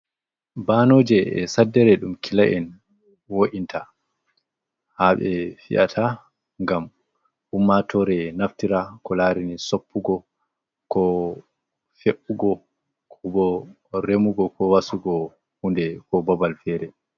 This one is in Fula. Banoje e'saddere ɗum kila'en wo'inta haa ɓe fiyata ngam ummatore naftira ko larini soppugo, ko fe'ugo, ko bo remugo, ko wasugo hunde, ko babal fere.